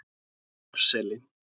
Hæðarseli